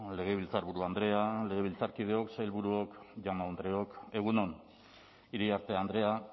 legebiltzarburu andrea legebiltzarkideok sailburuok jaun andreok egun on iriarte andrea